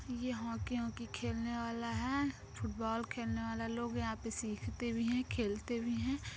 ये hockey hockey खेलने वाला है फुटबॉल खेलने वाले लोग यहाँ पे सीखते भी है खेलते भी है।